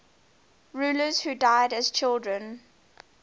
rulers who died as children